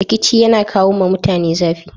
Rikici yana kawo ma mutane zafi.